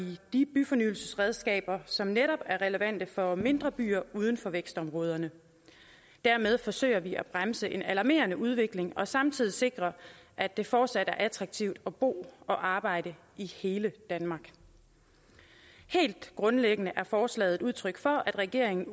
de byfornyelsesredskaber som netop er relevante for mindre byer uden for vækstområderne dermed forsøger vi at bremse en alarmerende udvikling og samtidig sikre at det fortsat er attraktivt at bo og arbejde i hele danmark helt grundlæggende er forslaget et udtryk for at regeringen